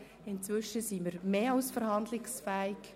Inzwischen sind wir mehr als verhandlungsfähig.